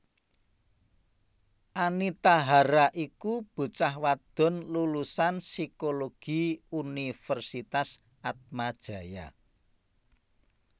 Anita Hara iku bocah wadon lulusan Psikologi Universitas Atmajaya